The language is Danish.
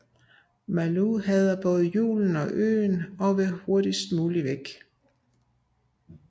Malou hader både julen og øen og vil hurtigst muligt væk